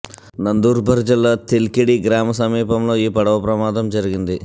నందూర్బర్ జిల్లా తెల్కెడి గ్రామ సమీపంలో ఈ పడవ ప్రమాదం జరిగింది